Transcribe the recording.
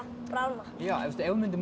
bráðna ef við myndum